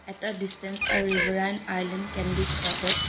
At the distance a river and island can be spotted.